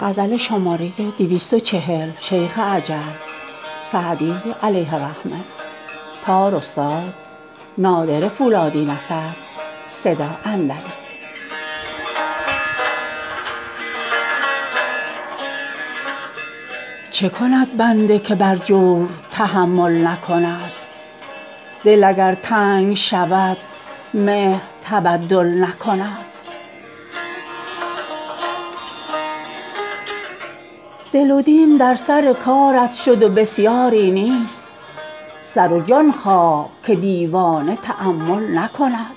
چه کند بنده که بر جور تحمل نکند دل اگر تنگ شود مهر تبدل نکند دل و دین در سر کارت شد و بسیاری نیست سر و جان خواه که دیوانه تأمل نکند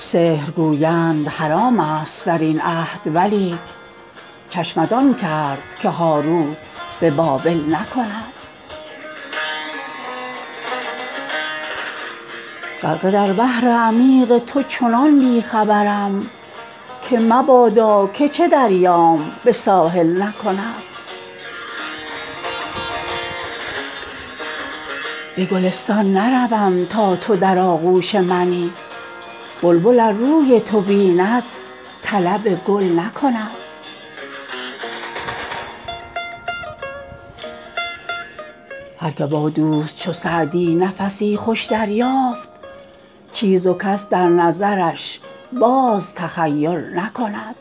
سحر گویند حرام ست در این عهد ولیک چشمت آن کرد که هاروت به بابل نکند غرقه در بحر عمیق تو چنان بی خبرم که مبادا که چه دریام به ساحل نکند به گلستان نروم تا تو در آغوش منی بلبل ار روی تو بیند طلب گل نکند هر که با دوست چو سعدی نفسی خوش دریافت چیز و کس در نظرش باز تخیل نکند